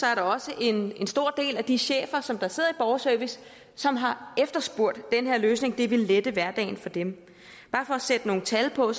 er der også en stor del af de chefer der sidder i borgerservice som har efterspurgt den her løsning det ville lette hverdagen for dem bare for at sætte nogle tal på